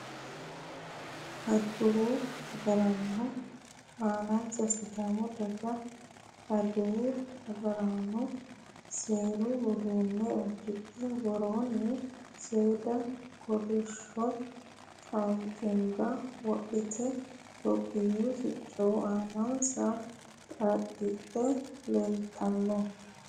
adawu agaraano anansa sidaami daga adawu agaarano seeru uduunne uddidhe woroonni seeda kolishsho caamma wodhite tophiyuu sicco aanansa xaadhidhe leeltanno.